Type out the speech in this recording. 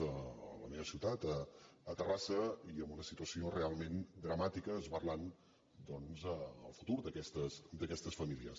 a la meva ciutat a terrassa i amb una situació realment dramàtica esberlant el fu·tur d’aquestes famílies